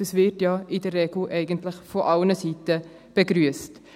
das wird ja in der Regel eigentlich von allen Seiten begrüsst.